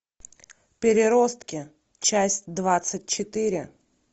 переростки часть двадцать четыре